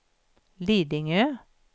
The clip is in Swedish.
Lidingö